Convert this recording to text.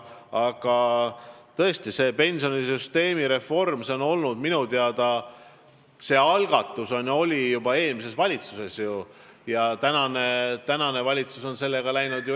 Aga selle pensionisüsteemi reformi algatus tuli minu teada juba eelmiselt valitsuselt ja praegune valitsus on sellega edasi läinud.